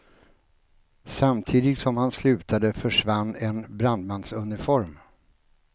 Samtidigt som han slutade försvann en brandmansuniform.